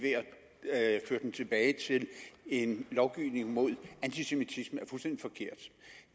ved at føre den tilbage til en lovgivning mod antisemitisme er fuldstændig forkert